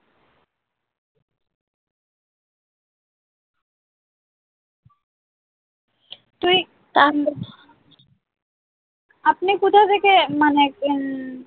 তুই আপনি কোথা থেকে মানে উম